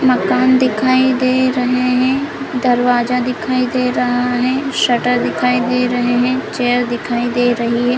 मकान दिखाई दे रहें हैं दरवाजा दिखाई दे रहा हैं शटर दिखाई दे रहें हैं चेयर दिखाई दे रही है ।